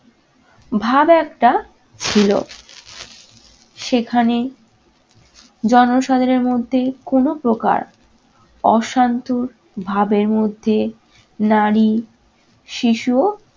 ভাব একটা ছিল। সেখানে জনসাধারণের মধ্যে কোন প্রকার অশান্ত ভাবের মধ্যে নারী, শিশুও